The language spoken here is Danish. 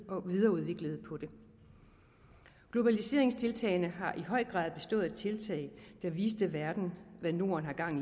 og videreudviklede den globaliseringstiltagene har i høj grad bestået af tiltag der viste verden hvad norden har gang